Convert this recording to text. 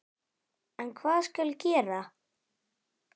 En hvað skal gera?